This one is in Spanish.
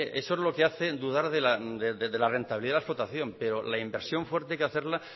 eso es lo que hace dudar de la rentabilidad de la explotación pero la inversión fuerte hay que hacerla